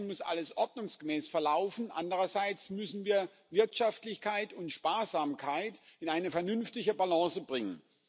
Zum einen muss alles ordnungsgemäß verlaufen, andererseits müssen wir Wirtschaftlichkeit und Sparsamkeit in eine vernünftige Balance bringen.